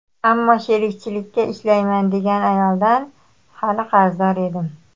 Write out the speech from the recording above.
Ammo sherikchilikka ishlayman degan ayoldan hali qarzdor edim.